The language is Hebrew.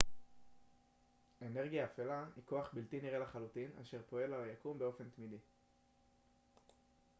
אנרגיה אפלה היא כוח בלתי נראה לחלוטין אשר פועל על היקום באופן תמידי